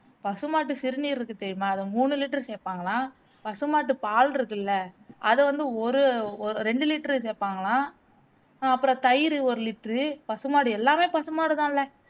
பசுமாட்டு சிறுநீர் இருக்கு தெரியுமா அதுலே மூனு liter சேர்ப்பாங்கலாம், பசுமாட்டு பால் இருக்குல்ல அத வந்து ஒரு ஒ ரெண்டு liter சேர்ப்பாங்கலாம் அப்பறம் தயிர் ஒரு liter பசுமாடு எல்லாமே பசுமாடுதான்லே